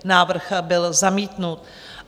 Návrh byl zamítnut.